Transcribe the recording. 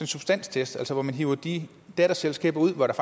substanstest altså hvor man hiver de datterselskaber ud hvor der